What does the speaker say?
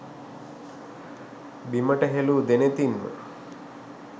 බිමට හෙලූ දෙනෙතින්ම